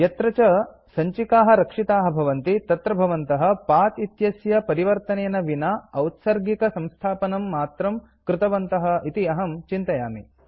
यत्र च सञ्चिकाः रक्षिताः भवन्ति तत्र भवन्तः पथ इत्यस्य परिवर्तनेन विना औत्सर्गिक संस्थापनं मात्रं कृतवन्तः इति अहं चिन्तयामि